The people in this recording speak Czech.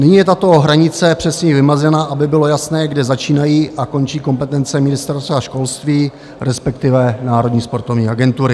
Nyní je tato hranice přesněji vymezena, aby bylo jasné, kde začínají a končí kompetence Ministerstva školství, respektive Národní sportovní agentury.